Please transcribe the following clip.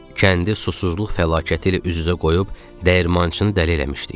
Kəndi susuzluq fəlakəti ilə üz-üzə qoyub dəyirmançını dəli eləmişdik.